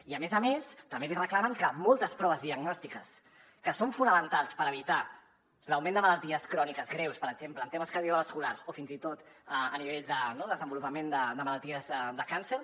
i a més a més també li reclamen que moltes proves diagnòstiques que són fonamentals per evitar l’augment de malalties cròniques greus per exemple en temes cardiovasculars o fins i tot a nivell de no desenvolupament de malalties de càncer